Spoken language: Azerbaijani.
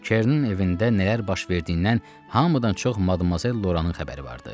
Kernin evində nələr baş verdiyindən hamıdan çox Madmazel Loranın xəbəri vardı.